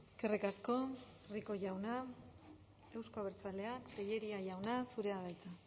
eskerrik asko rico jauna euzko abertzaleak tellería jauna zurea da hitza